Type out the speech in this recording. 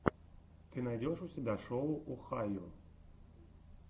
ты найдешь у себя шоу охайо